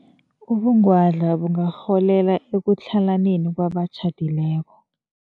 Ubungwadla bungarholela ekutlhalaneni kwabatjhadileko.